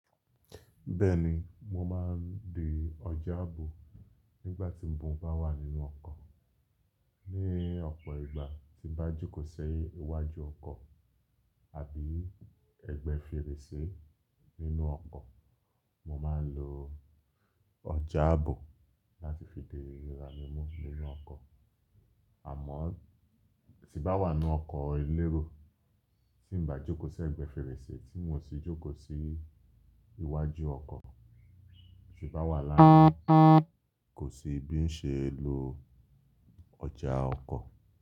Bẹ́ẹ̀ni, mo máa ń de ọjà ààbò nígbà tí mo bá wà nínú ọkọ̀. Ní ọ̀pọ̀ ìgbà tí n bá jókòó sí iwájú ọkọ̀ àbí ẹgbẹ́ fèrèsé nínú ọkọ̀, mo máa ń lo ọjà ààbò láti fi di ara mí mú nínú ọkọ̀. Àmọ́ tí bá wà nínú ọkọ̀ elérò, tí n bá jókòó sí ẹgbẹ́ fèrèsé tí n ò sì jókòó sí iwájú ọkọ̀, tí bá wà lánàá kò sí bí ń ṣe ń lo ọjà ọkọ̀